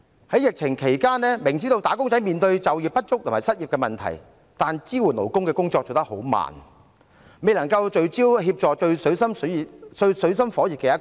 在疫情期間，明知"打工仔"面對就業不足和失業問題，但支援勞工的工作卻做得很慢，未能聚焦協助最水深火熱的一群。